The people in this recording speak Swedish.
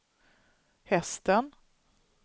hästen